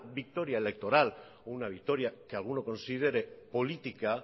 victoria electoral o una victoria que alguno considere política